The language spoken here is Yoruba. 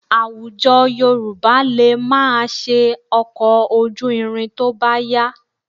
Àwùjọ Yorùbá lè máa ṣe ọkọ̀ ojú irin tó bá yá